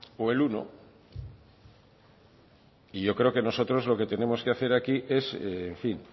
o el uno y yo creo que nosotros lo que tenemos que hacer aquí es en fin